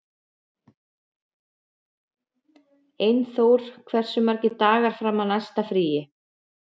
Einþór, hversu margir dagar fram að næsta fríi?